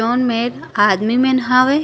जोन मे आदमी मन हवे।